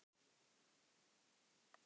En jörðin hér er bundin og frjósöm.